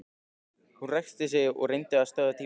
Hún ræskti sig og reyndi að stöðva tárin.